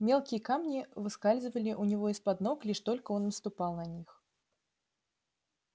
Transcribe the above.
мелкие камни выскальзывали у него из под ног лишь только он наступал на них